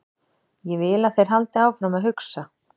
Ég vil að þeir haldi áfram að hugsa.